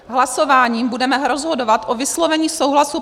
Hlasováním budeme rozhodovat o vyslovení souhlasu